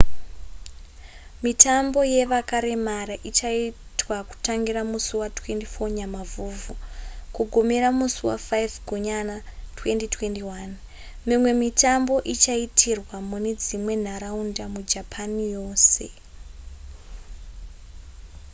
mitambo yevakaremara ichaitwa kutangira musi wa24 nyamavhuvhu kugumira musi wa5 gunyana 2021 mimwe mitambo ichaitirwa mune dzimwe nharaunda mujapan yose